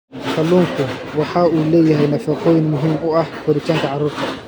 Kalluunku waxa uu leeyahay nafaqooyin muhiim u ah koritaanka carruurta.